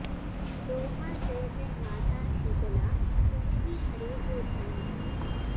दोहा जय जय माता शीतला तुमही धरे जो ध्यान